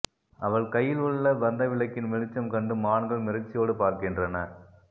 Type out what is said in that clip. அவள் கையில் உள்ள பந்தவிளக்கின் வெளிச்சம் கண்டு மான்கள் மிரட்சியோடு பார்க்கின்றன